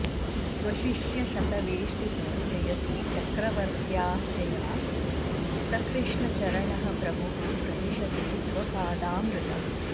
स्वशिष्यशतवेष्टितो जयति चक्रवर्त्याख्यया स कृष्णचरणः प्रभुः प्रदिशतु स्वपादामृतम्